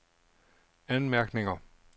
anmærkninger